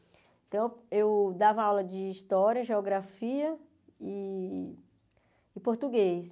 Então, eu dava aula de história, geografia e e português.